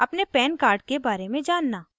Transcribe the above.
अपने pan card के बारे में जानना